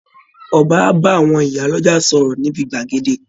Ọba ń bá àwọn ìyá lọ́jà sọ̀rọ̀ níbi gbàgede